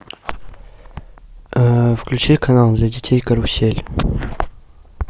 включи канал для детей карусель